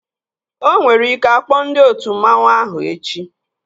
Onwere ike akpọ ndị otu mmanwu ahụ oku echi